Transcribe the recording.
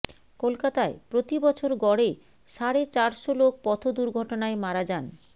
কলকাতায় প্রতি বছর গড়ে সাড়ে চারশো লোক পথ দুর্ঘটনায় মারা যান